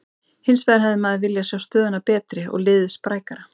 Hinsvegar hefði maður viljað sjá stöðuna betri og liðið sprækara.